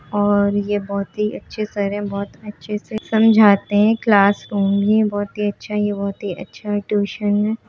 और ये बहुत ही अच्छे सर है बहुत अच्छे से समझाते है क्लास रूम ही बहुत ही अच्छा ये बहुत अच्छा ट्यूशन है।